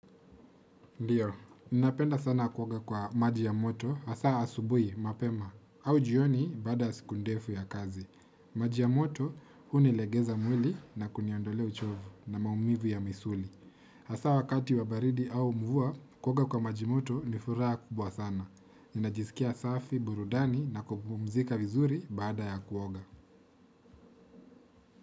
Ndiyo, ninapenda sana kuoga kwa maji ya moto, hasa asubuhi, mapema, au jioni baada ya siku ndefu ya kazi. Maji ya moto, hunilegeza mwili na kuniondolea uchovu na maumivu ya misuli. Hasa wakati wa baridi au mvua, kuoga kwa maji moto nifuraha kubwa sana. Ninajisikia safi, burudani na kupumzika vizuri baada ya kuoga.